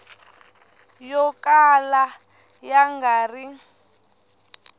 yo kala ya nga ri